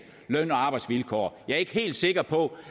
løn og arbejdsvilkår jeg er ikke helt sikker på